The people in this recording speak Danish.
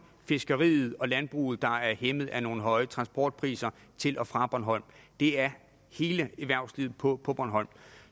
fiskeriet og landbruget der er hæmmet af nogle høje transportpriser til og fra bornholm det er hele erhvervslivet på på bornholm